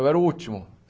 Eu era o último.